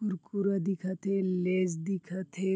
कुरकुरा दिखत हे लेस दिखते हे।